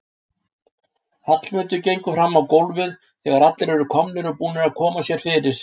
Hallmundur gengur fram á gólfið þegar allir eru komnir og búnir að koma sér fyrir.